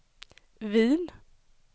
Wien